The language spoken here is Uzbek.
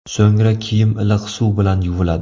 So‘ngra kiyim iliq suv bilan yuviladi.